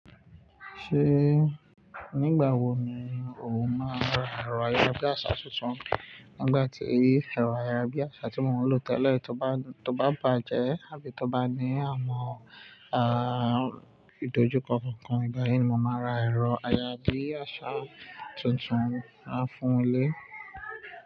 Ṣé nígbà wo ni o máa n ra ẹ̀rọ ayárabíàṣá tuntun? Nígbà tí ẹ̀rọ ayárabíàṣá tí mò ń lò tẹ́lẹ̀ tó bá bàjẹ́ àbí tó bá ní àmọ̀ ìdojúkọ kankan, igbáyìí ni mò máa n ra ẹ̀rọ ayárabíàṣá tuntun láfún ilé.